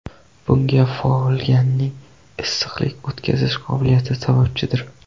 Bunga folganing issiqlik o‘tkazish qobiliyati sababchidir.